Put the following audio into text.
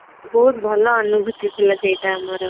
ବହୁତ ଭଲ ଅନୁଭୂତି ଥିଲା ସେଟା ଆମର